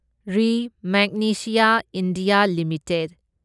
ꯔꯤ magnesia India limited